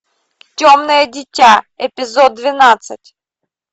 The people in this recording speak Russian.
темное дитя эпизод двенадцать